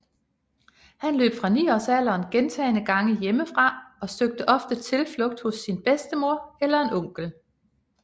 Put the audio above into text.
Han løb fra niårsalderen gentagne gange hjemmefra og søgte ofte tilflugt hos sin bedstemor eller en onkel